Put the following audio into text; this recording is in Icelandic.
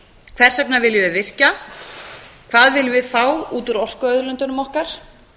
hvers vegna viljum við virkja hvað viljum við fá út úr orkuauðlindunum okkar